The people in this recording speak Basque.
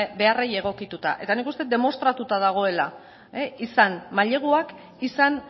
beharrei egokituta eta nik uste dut demostratuta dagoela izan maileguak izan